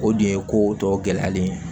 O dun ye ko tɔ gɛlɛyalen ye